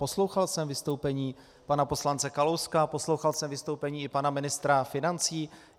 Poslouchal jsem vystoupení pana poslance Kalouska, poslouchal jsem vystoupení i pana ministra financí.